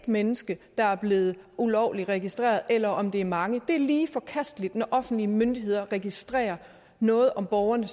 mennesker der er blevet ulovligt registreret eller om det er mange det er lige forkasteligt når offentlige myndigheder registrerer noget om borgerne